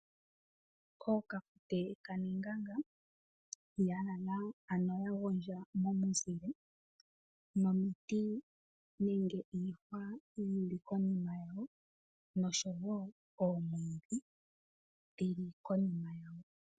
OoKafute kaNenganga ya lala, ano ya gondja momuzile, momiti nenge iihwa yi li konima yawo nosho wo oomwiidhi dhi li konima yawo.